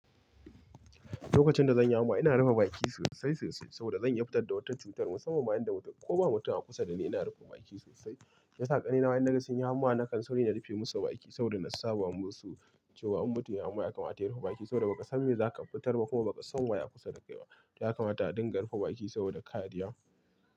Lokacin da zan yi hamma ina rufe bakin sosai-sosai saboda zan iya fitar da wata cutar musamman in da mutum ko ba mutum a kusa dani ina rufe baki sosai. Ya sa ƙanne na ma inna gan sunyi hamma nakan sauri na rufe masa baki saboda na saba musu cewa in mutum yayi hamma ya kamata ya rufe baki saboda ba ka san me za ka fitar ba kuma ba ka san waye a kusa da kai ba. Ya kamata a dinga rufe baki saboda kaa ɗiya.